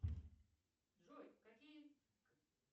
джой какие